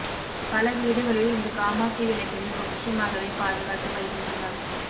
பல வீடுகளில் இந்த காமாட்சி விளக்கினை பொக்கிஷமாகவே பாதுகாத்து வருகின்றனர்